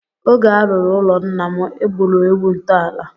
Oge a rụrụ ụlọ nna m, e gburu ewu ntọala.